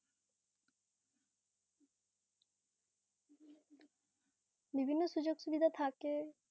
বিভিন্ন সুযোগ সুবিধা থাকে